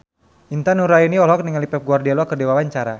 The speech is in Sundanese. Intan Nuraini olohok ningali Pep Guardiola keur diwawancara